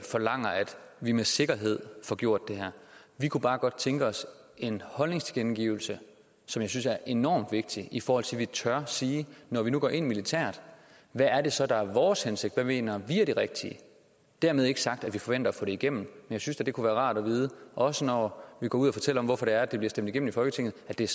vi med sikkerhed får gjort det her vi kunne bare godt tænke os en holdningstilkendegivelse som jeg synes er enormt vigtig i forhold til at vi tør sige at når vi nu går ind militært hvad er det så der er vores hensigt hvad mener vi er det rigtige dermed ikke sagt at vi forventer at få det igennem men jeg synes da at det kunne være rart at vide også når vi går ud og fortæller om hvorfor det er at det bliver stemt igennem i folketinget at det er